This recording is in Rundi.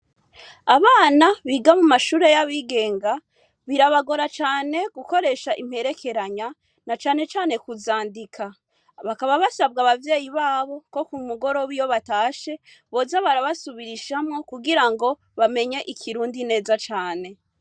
Abana biga mu mashure y'abigenga, birabagora cane gukoresha imperekeranya, na cane cane kuzandika. Bakaba basabwa abavyeyi babo ko ku mugoroba iyo batashe, boza barabasubirishamwo kugira ngo bamenye Ikirundi neza cane.